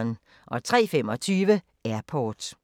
03:25: Airport